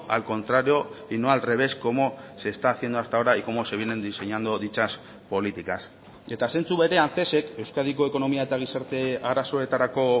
al contrario y no al revés como se está haciendo hasta ahora y cómo se vienen diseñando dichas políticas eta zentzu berean cesek euskadiko ekonomia eta gizarte arazoetarako